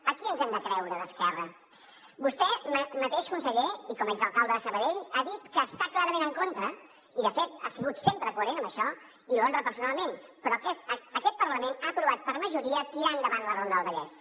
a qui ens hem de creure d’esquerra vostè mateix conseller i com a exalcalde de sabadell ha dit que hi està clarament en contra i de fet ha sigut sempre coherent en això i l’honra personalment però aquest parlament ha aprovat per majoria tirar endavant la ronda del vallès